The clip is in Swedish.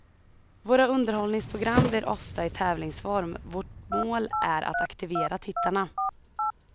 Våra underhållningsprogram blir ofta i tävlingsform, vårt mål är att aktivera tittarna.